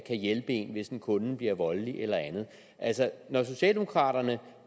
hjælpe en hvis en kunde bliver voldelig eller andet når socialdemokraterne